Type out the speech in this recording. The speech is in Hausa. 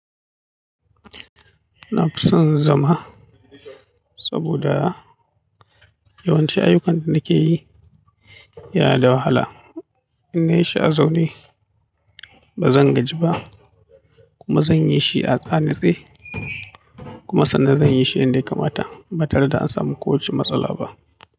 Na fi son zama, saboda yawancin ayyukan da nake yi yana da wahala. In na yi shi a zaune ba zan gaji ba, kuma zan yi shi a tsanise kuma sannan zan yi shi yanda ya kamata ba tare da an samu ko wacce matsala ba.